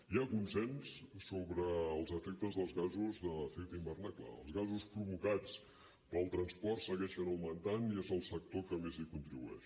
hi ha consens sobre els efectes dels gasos d’efecte hivernacle els gasos provocats pel transport segueixen augmentant i és el sector que més hi contribueix